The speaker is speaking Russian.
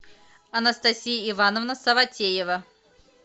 анастасия ивановна саватеева